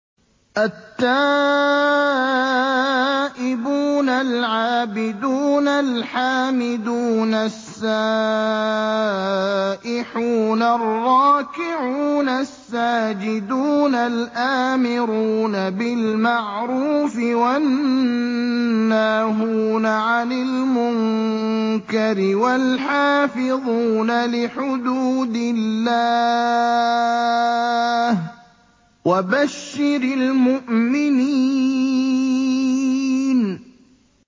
التَّائِبُونَ الْعَابِدُونَ الْحَامِدُونَ السَّائِحُونَ الرَّاكِعُونَ السَّاجِدُونَ الْآمِرُونَ بِالْمَعْرُوفِ وَالنَّاهُونَ عَنِ الْمُنكَرِ وَالْحَافِظُونَ لِحُدُودِ اللَّهِ ۗ وَبَشِّرِ الْمُؤْمِنِينَ